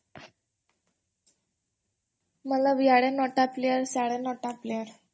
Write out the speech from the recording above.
ଏଆଡେ ନ'ଟା ପ୍ଲେୟାର୍ ସେ ଆଡେ ନ'ଟା ପ୍ଲେୟାର୍